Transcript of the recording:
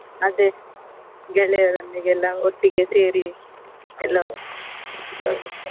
ಅದೇ ಗೆಳೆಯರೊಂದಿಗೆ ಎಲ್ಲಾ ಒಟ್ಟಿಗೆ ಸೇರಿ .